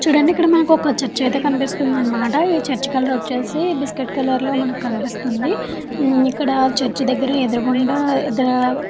చుడండి ఇక్కడ మనకి చర్చి అయితే కనిపిస్తుంది అనమాట ఈ చర్చి కలర్ వచ్చేసి బిస్కెట్ కలర్ లో మనకి కనిపిస్తుంది ఇక్కడ చర్చి దగ్గర ఎదురుగుండా ఇద్దరు --